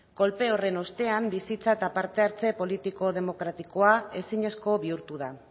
kolpe horren ostean bizitza eta parte hartze politiko demokratikoa ezinezko bihurtu da